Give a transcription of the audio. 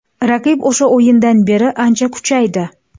Raqib o‘sha o‘yindan beri ancha kuchaydi.